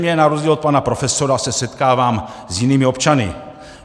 Zřejmě na rozdíl od pana profesora se setkávám s jinými občany.